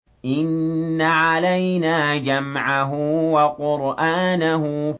إِنَّ عَلَيْنَا جَمْعَهُ وَقُرْآنَهُ